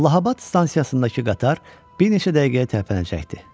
Allahabəd stansiyasındakı qatar bir neçə dəqiqəyə tərpənəcəkdi.